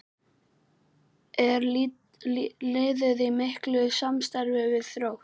Er liðið í miklu samstarfi við Þrótt?